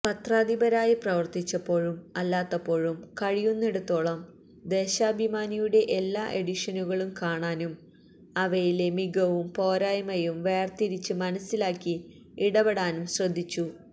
പത്രാധിപരായി പ്രവർത്തിച്ചപ്പോഴും അല്ലാത്തപ്പോഴും കഴിയുന്നിടത്തോളം ദേശാഭിമാനിയുടെ എല്ലാ എഡിഷനുകളും കാണാനും അവയിലെ മികവും പോരായ്മയും വേർതിരിച്ച് മനസ്സിലാക്കി ഇടപെടാനും ശ്രദ്ധിച്ചു